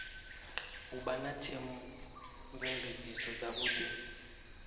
u vha na theomveledziso dzavhudi